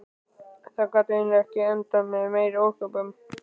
Það gat eiginlega ekki endað með meiri ósköpum.